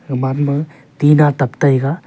aman ma tina tup taiga.